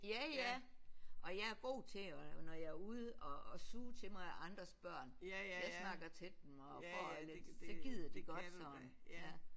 Ja ja og jeg er god til at når jeg er ude at suge til mig af andres børn. Jeg snakker til dem og får så gider de godt sådan ja